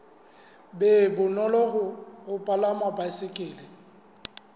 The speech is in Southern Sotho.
be bonolo ho palama baesekele